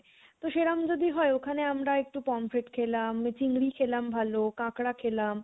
তো সেরম যদি হয় ওখানে আমরা একটু prawn খেলাম, চিংড়ি খেলাম ভালো, কাঁকড়া খেলাম